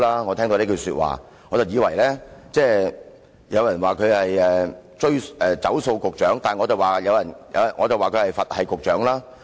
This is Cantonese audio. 我聽到這句說話便感安心，有人說他是"走數局長"，但我說他是"佛系局長"。